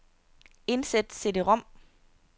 Indsæt cd-rom.